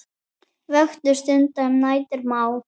Vöku stunda um nætur má.